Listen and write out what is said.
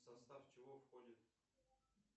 в состав чего входит